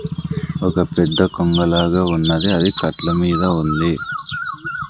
ఒక పెద్ద కొంగలాగ ఉన్నది అది కట్ల మీద ఉంది.